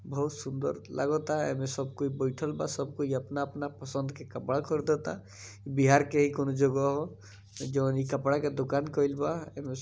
बहुत सुंदर लागाता ए मे सब कोई बैठएल बा सब कोई अपना-अपना पसंद के कपड़ा खरीदाता बिहार के ही कोनों जगह ह जोन इ कपड़ा के दुकान कइल बा एमे --